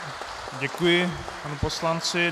Děkuji panu poslanci.